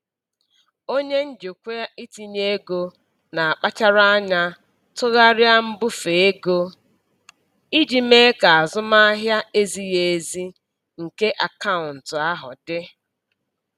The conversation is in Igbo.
Onye njikwa itinye ego na-akpachara anya tụgharịa mbufe ego iji mee ka azụmahịa ezighi ezi nke akaụntụ ahụ dị.